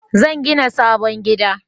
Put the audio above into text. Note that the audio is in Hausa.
Zan gina sabon gida